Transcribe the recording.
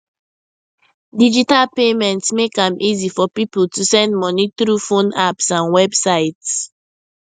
digital payments make am easy for people to send money through phone apps and websites